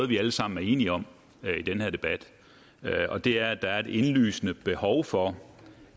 vi alle sammen er enige om i den her debat det er at der er et indlysende behov for